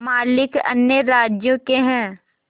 मालिक अन्य राज्यों के हैं